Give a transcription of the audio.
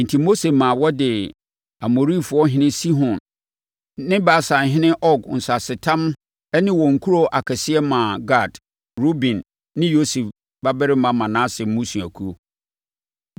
Enti, Mose maa wɔde Amorifoɔhene Sihon ne Basanhene Og nsasetam ne wɔn nkuro akɛseɛ maa Gad, Ruben ne Yosef babarima Manase mmusuakuo.